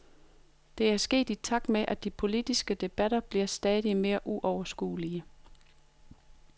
Det sker i takt med, at de politiske debatter bliver stadig mere uoverskuelige.